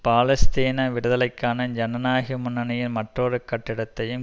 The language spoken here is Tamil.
பாலஸ்தீன விடுதலைக்கான ஜனநாயக முன்னணியின் மற்றொரு கட்டடத்தையும்